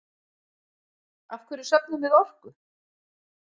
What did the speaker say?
Af hverju söfnum við orku?